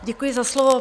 Děkuji za slovo.